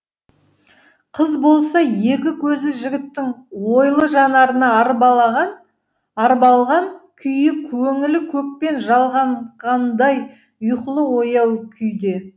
қыз болса екі көзі жігіттің ойлы жанарына арбалған күйі көңілі көкпен жалғанғандай ұйқылы ояу күйде